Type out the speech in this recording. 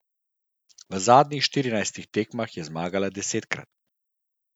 V zadnjih štirinajstih tekmah je zmagala desetkrat.